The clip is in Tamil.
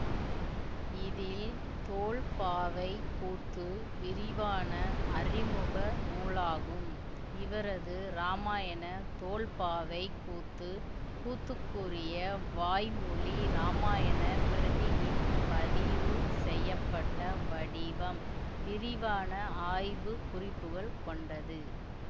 இதில் தோல்பாவைக்கூத்து விரிவான அறிமுக நூலாகும் இவரது ராமாயண தோல்பாவைக்கூத்து கூத்துக்குரிய வாய்மொழி ராமாயணப்பிரதியின் பதிவு செய்யபப்ட்ட வடிவம் விரிவான ஆய்வு குறிப்புகள் கொண்டது